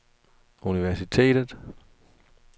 universitetet